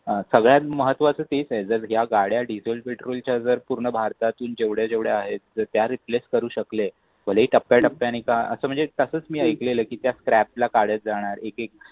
अह सगळ्यात महत्वाचे तेच आहे जर ज्या गाड्या डिझेल पेट्रोल जर पूर्ण भारतातील जेवढ्या आहेत त्या रिप्लेस करू शकले जरी टप्प्याटप्प्याने का असं म्हणजे तसाच मी ऐकलेलं की त्या स्क्रॅप काढत जाणार